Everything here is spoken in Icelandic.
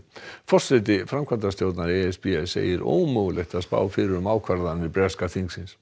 forseti framkvæmdastjórnar e s b segir ómögulegt að spá fyrir um ákvarðanir breska þingsins